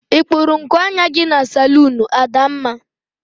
I kpuru nku anya gi na salunu Adamma?